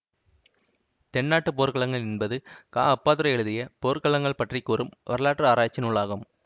தென்னாட்டுப் போர்க்களங்கள் என்பது கா அப்பாத்துரை எழுதிய போர்க்களங்கள் பற்றிக்கூறும் வரலாற்றாராய்ச்சி நூலாகும்